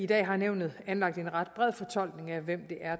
dag har nævnet anlagt en ret bred fortolkning af hvem